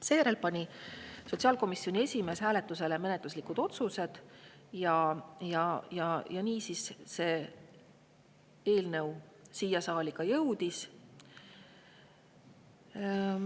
Seejärel pani sotsiaalkomisjoni esimees hääletusele menetluslikud otsused ja nii see eelnõu siia saali jõudis.